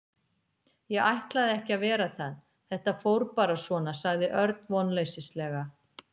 Ég ætlaði ekki að vera það, þetta fór bara svona sagði Örn vonleysislega.